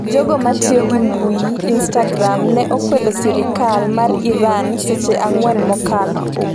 Jogo matiyo gi mbui instagram ne okwedo sirikal mar Iran seche ang'wen mokalo